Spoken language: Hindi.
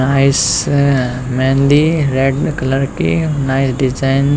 नाइस मेहंदी रेड कलर की नाइस डिजाइन--